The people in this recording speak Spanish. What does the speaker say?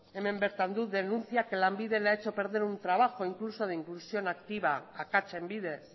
hemen behar dut denuncia que lanbide le ha hecho perder un trabajo incluso de inclusión activa akatsen bidez